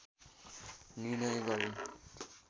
निर्णय गरिन्